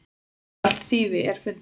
Mestallt þýfið er fundið.